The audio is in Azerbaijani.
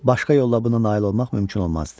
Başqa yolla buna nail olmaq mümkün olmazdı.